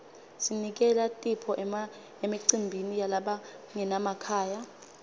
sinikela tipho emicimbini yalabangenamakhaya